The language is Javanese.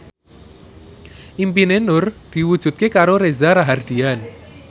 impine Nur diwujudke karo Reza Rahardian